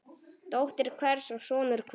Dóttir hvers og sonur hvers.